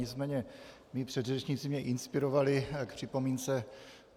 Nicméně mí předřečníci mě inspirovali k připomínce.